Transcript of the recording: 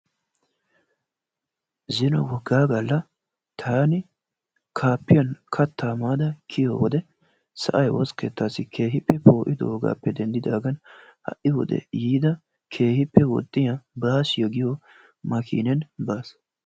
Zino woga galla taan kaapiyaan kattaa maada kiyiyyo wode sa'ay woossa keettassi keehippe po'idoogappe denddidaagan ha'i wode yiida keehippe woxxiyaa minibaasiyo giyo maakineni baassi